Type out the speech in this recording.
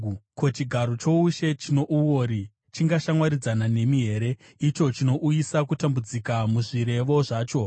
Ko, chigaro choushe chino uori chingashamwaridzana nemi here, icho chinouyisa kutambudzika muzvirevo zvacho?